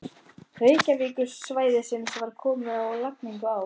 Reykjavíkursvæðisins var komið á laggirnar á